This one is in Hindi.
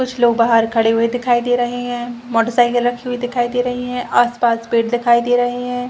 कुछ लोग बाहर खड़े हुए दिखाई दे रहे हैं मोटरसाइकिल रखी हुई दिखाई दे रही हैं आसपास पेट दिखाई दे रहे हैं।